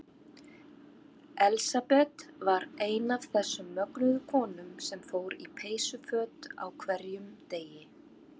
Elsabet var ein af þessum mögnuðu konum sem fór í peysuföt á hverjum degi.